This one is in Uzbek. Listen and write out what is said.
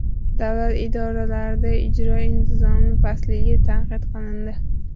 Davlat idoralarida ijro intizomi pastligi tanqid qilindi.